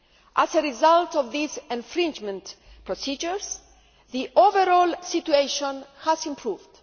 As a result of these infringement procedures, the overall situation has improved.